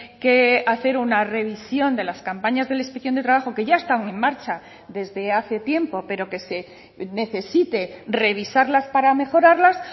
que hacer una revisión de las campañas de la inspección de trabajo que ya están en marcha desde hace tiempo pero que se necesite revisarlas para mejorarlas